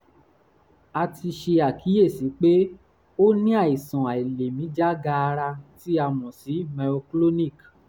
a ti ṣe àkíyèsí pé ó ní àìsàn àìlèmí jágaara tí a mọ̀ sí myoclonic